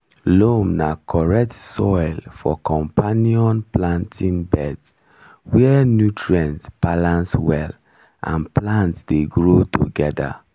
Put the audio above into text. loam na correct soil for companion planting beds where nutrients balance well and plants dey grow together